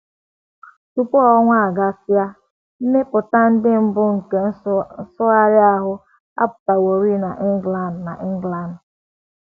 Tupu otu ọnwa agasịa um, mbipụta ndị mbụ nke nsụgharị ahụ apụtaworị n’England n’England.